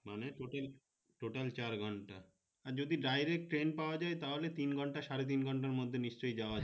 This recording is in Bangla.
মানে total চার ঘন্টা যদি direct train পাওয়া যায় তাহলে তিন ঘন্টা সাড়ে তিন ঘন্টা মধ্যে নিশ্চই যাওয়া যাবে